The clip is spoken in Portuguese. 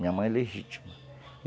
Minha mãe legítima.